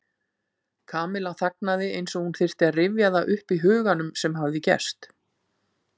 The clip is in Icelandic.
Kamilla þagnaði eins og hún þyrfti að rifja það upp í huganum sem hafði gerst.